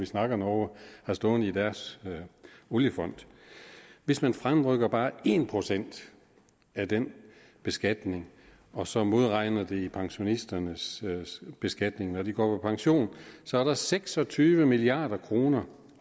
snakker om norge har stående i deres oliefond hvis man fremrykker bare en procent af den beskatning og så modregner det i pensionisternes beskatning når de går på pension så er der seks og tyve milliard kroner